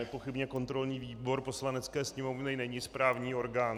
Nepochybně kontrolní výbor Poslanecké sněmovny není správní orgán.